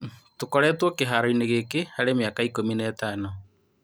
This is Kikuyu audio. " Tũkoretwo kĩharo-inĩ gĩkĩ harĩ mĩaka ikũmi na ĩtano.